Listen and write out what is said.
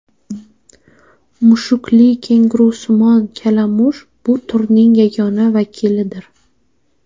Mushkli kengurusimon kalamush bu turning yagona vakilidir.